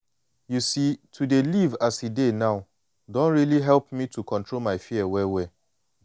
you see to dey live as e dey now don really help me to control my fear well-well.